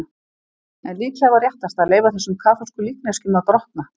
En líklega var réttast að leyfa þessum kaþólsku líkneskjum að grotna.